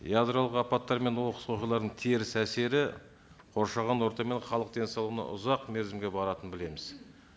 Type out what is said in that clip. ядролық апаттар мен оқыс оқиғалардың теріс әсері қоршаған орта мен халық денсаулығына ұзақ мерзімге баратынын білеміз